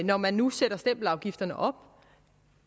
når man nu sætter stempelafgifterne op